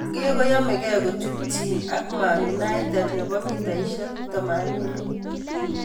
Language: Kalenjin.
(sunday Mirror) Maguire koyamekee kochutchin ak Man Utd ab �80m